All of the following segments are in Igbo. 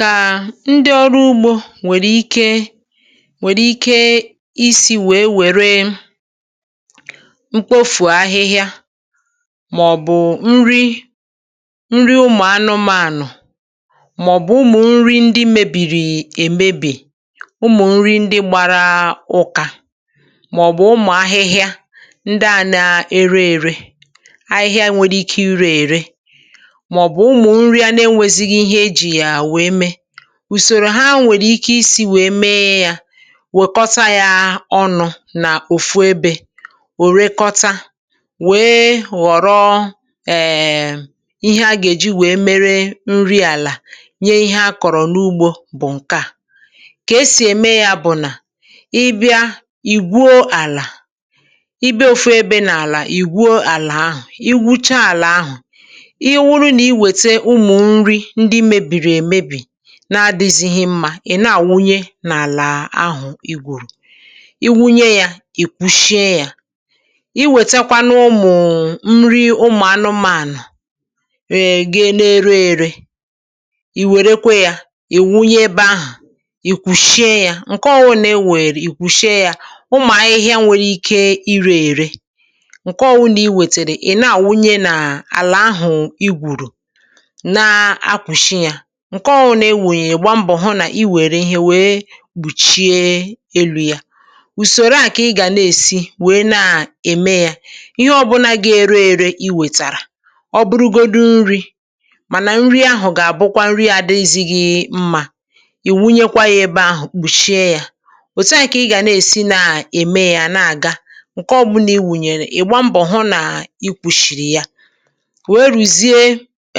Kà ndị ọrụ ugbȯ nwèrè ike nwèrè ike isi̇ wèe wère mkpofù ahịhịa, mà ọ̀ bụ̀ nri, nri ụmụ̀ anụmaànụ̀, mà ọ̀ bụ̀ ụmụ̀ nri ndị mebìrì èmebì, ụmụ̀ nri ndị gbara ụ̀kà, mà ọ̀ bụ̀ ụmụ̀ ahịhịa ndị à na-ere ère, ahịhịa nwere ike ire ère, ma ọ bụ ụmụ nri a na enwezighị ihe e ji ya wee mee. Usòrò ha nwèrè ike isi̇ wèe mee yȧ, wèkọta yȧ ọnụ̇ nà òfu ebė, ò rekọta, wèe ghọ̀rọ um ihe a gà-èji wèe mere nri àlà nye ihe a kọ̀rọ̀ n’ugbȯ bụ̀ ǹke à. Kà esì ème yȧ bụ̀ nà, ị bịa, ì gwuo àlà. Ị bịa ofu ebė nà àlà ì gwuo àlà ahụ̀. I gwucha àlà ahụ̀, ọ bụrụ na iweta ụmụ nri ndị mebiri emebi, na-adị̇zị̇ghị mmȧ, ị̀ na-àwụnye n’àlà ahụ̀ i gwùrù. Ị wunye yȧ, ì kwuchie yȧ. Ị wètekwa nụ ụmụ̀ nri ụmụ̀ anụmȧànụ̀ um ga na-ere ère, ì wère kwa yȧ, ì wunye ebe ahụ̀, i kwùchie yȧ. Nke ọ bụ̀nà ị nwụnyèrè, ì kwùchie yȧ. Ụmụ̀ ahịhịa nwèrè ike ịrė irė, ǹke ọ bụ̀ nà i wètèrè ị na-àwụnye n’àlà àhụ̀ i gwùrù, na e kpuchi ya. Nke ọ̀ bụ̀nà ị wụnyere ị gbaa mbọ̀ hụ nà i wère ihe wèe kpùchie elu̇ ya. Usòrò a kà ị gà èsi wèe na-ème ya. Ihe ọbụla g’ėre ėrė i wètàrà, ọbụrụgodụ nri̇, mànà nri ahụ̀ gà-àbụ kwa nri n’àdịzighi̇ mmȧ, ị wụnyekwa ya ebe ahụ̀, kpùchie ya. Otu a kà ị gà na-èsi na-ème ya na-àga, ǹke ọ̀ bụ̀ na ị wụnyèrè, ị̀ gba mbọ̀ hụ nà ikwùchìrì ya wee ruzie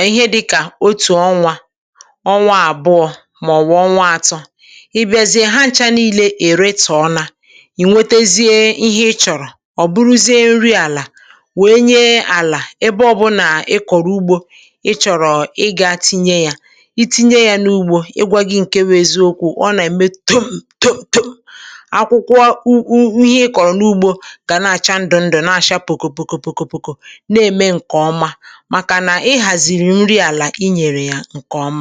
ihe dịka otu ọnwa, ọnwa àbụọ̇ mà ọ̀ bụ̀ ọnwa atọ. Ị bịa zie ha ncha n’ilė èretȯ na, i nwetezie ihe ị chọ̀rọ̀, ọ̀ bụrụzie nri àlà wee nye àlà ebe ọ bụ nà ị kọ̀rọ̀ ugbȯ ị chọ̀rọ̀ ị gȧ tinye yȧ. I tinye yȧ n’ugbȯ, ị gwa gị ǹke bụ eziokwu̇, ọ nà-ème to to to, akwụkwọ ihe ị kọ̀rọ̀ n’ugbȯ gà na-àcha ndụ ndụ, na-àcha pùkò pùkò pùkò pùkò na-ème ǹkè ọma màkà nà ị hàzìrì nri àlà i nyèrè ya ǹke ọma.